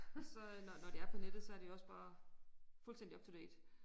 Og så øh når når det er på nettet så det jo også bare fuldstændig up to date